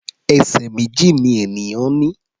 Ẹsẹ̀ méjì ni ènìyàn ní.